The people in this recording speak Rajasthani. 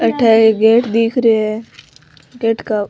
अठे एक गेट दिख रियो है गेट का --